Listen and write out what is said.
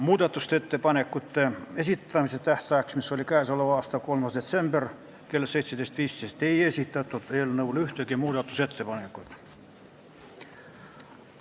Muudatusettepanekute esitamise tähtajaks, mis oli 3. detsember kell 17.15, ei esitatud ühtegi ettepanekut.